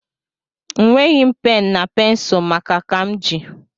Nweghi m pen na pensul maka ka m ji